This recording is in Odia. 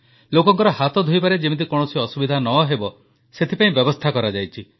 ଲୋକଙ୍କର ହାତ ଧୋଇବାରେ ଯେମିତି କୌଣସି ଅସୁବିଧା ନ ହେବ ସେଥିପାଇଁ ବ୍ୟବସ୍ଥା କରାଯାଇଛି